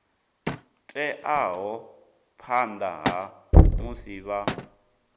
teaho phanḓa ha musi vha